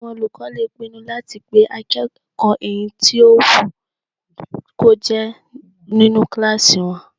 Àwọn olùkọ́ lè pinnu láti pé akẹ́kọ̀ọ́ èyí tó wù kó jẹ́ nínu kílásì wọn